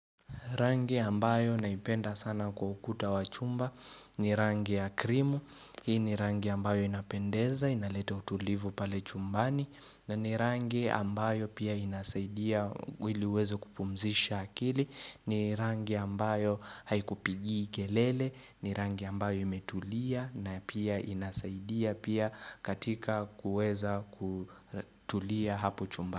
Rangi ambayo naipenda sana kwa ukuta wa chumba ni rangi ya krimu, hii ni rangi ambayo inapendeza, inaleta utulivu pale chumbani na ni rangi ambayo pia inasaidia wili uweze kupumzisha akili, ni rangi ambayo haikupigii kelele, ni rangi ambayo imetulia na pia inasaidia pia katika kuweza kutulia hapo chumba.